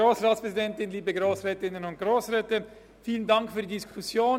Vielen Dank für die Diskussion.